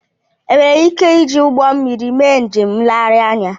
Ènwéré íké iji ụgbọ mmiri mé njém ńléghari ányà